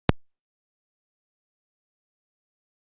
Hjördís: Og ekkert orðinn pirraður?